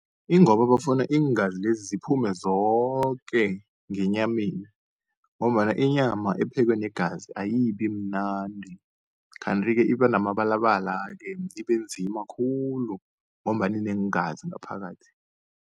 Ingoba bafuna iingazi lezi ziphume zoke ngenyameni, ngombana inyama ephekwe negazi ayibi mnandi. Kanti-ke iba namabalabala-ke ibe nzima khulu, ngombana ineengazi ngaphakathi.